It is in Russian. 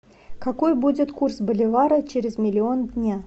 какой будет курс боливара через миллион дня